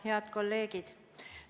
Head kolleegid!